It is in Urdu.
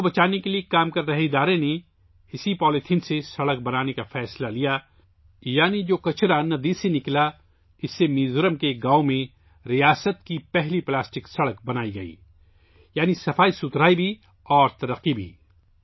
ندی کو بچانے کے لیے کام کرنے والی تنظیم نے اس پولی تھین یعنی دریا سے نکلنے والے کچرے سے سڑک بنانے کا فیصلہ کیا، میزورم کے ایک گاؤں میں ریاست کی پہلی پلاسٹک سڑک بنائی گئی، یعنی صفائی بھی اور ترقی بھی